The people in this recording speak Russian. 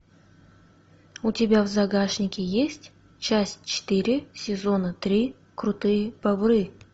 у тебя в загашнике есть часть четыре сезона три крутые бобры